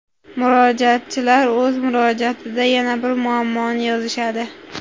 Murojaatchilar o‘z murojaatida yana bir muammoni yozishadi.